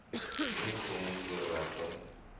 moenie vreemde voorwerpe